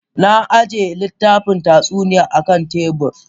Na ajiye littafin tatsuniya akan tebur.